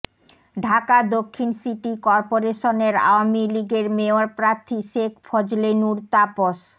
ঢাকা দক্ষিণ সিটি করপোরেশনের আওয়ামী লীগের মেয়র প্রার্থী শেখ ফজলে নূর তাপস